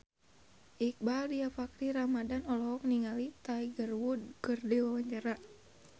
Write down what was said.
Iqbaal Dhiafakhri Ramadhan olohok ningali Tiger Wood keur diwawancara